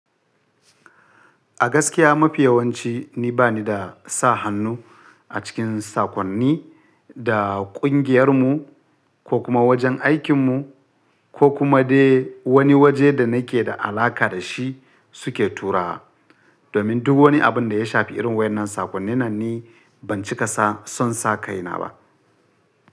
A gaskiya mafi yawanci ni bani da sa hannu a cikin sakonni da ƙungiyarmu ko kuma wajen aikinmu ko kuma dai wani waje da nake da alaƙa da shi suke turawa. Domin duk wani abin da ya shafi irin wayen nan sakonnin nan ni ban cika sa son sa kaina ba.